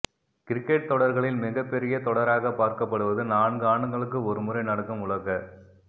cricket தொடர்களில் மிகப் பெரிய தொடராக பார்க்கப்படுவது நான்கு ஆண்டுகளுக்கு ஒரு முறை நடக்கும் உலகக்